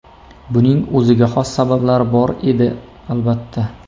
Buning o‘ziga xos sabablari bor edi, albatta.